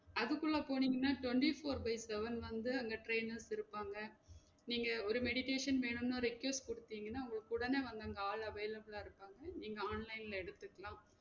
அதுக்குள்ள போனிங்கனா twenty-four by seven வந்து அங்க trainers இருப்பாங்க நீங்க ஒரு meditation வேணும்னு request குடுதீங்கனா, உங்களுக்கு உடனே வந்து அங்க ஆள் available ஆ இருப்பாங்க நீங்க online ல எடுதுக்கிலாம்